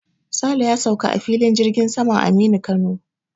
Sale ya sauka a filin jirgin saman Aminu Kano.